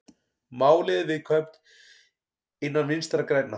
Málið er viðkvæmt innan Vinstri grænna